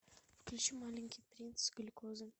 включи маленький принц глюкозы